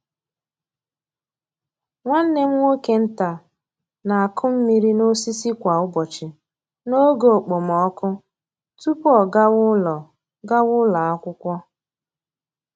Nwanne m nwoke nta na-akụ mmiri n’osisi kwa ụbọchị n’oge okpomọkụ tupu ọ gawa ụlọ gawa ụlọ akwụkwọ.